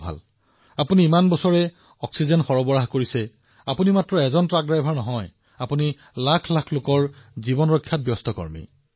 ভাল যদি আপুনি ১৫১৭ বছৰ ধৰি এই অক্সিজেন কঢ়িয়াই আছে আপুনি কেৱল ট্ৰাক চালকেই নহয় আপুনি এক প্ৰকাৰে লাখ লাখ জীৱন ৰক্ষা কৰিবলৈ চেষ্টা কৰি আছে